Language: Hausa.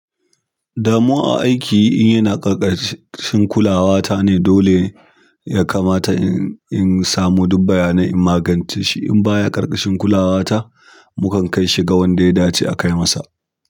Damuwa a aikin yana ƙarƙashin kulawatane dole yakamata insamu duk bayanai in maganceshi. In ba ya ƙarƙashin kulawa ta, mukan kai shi ga wanda ya dace a kai masa.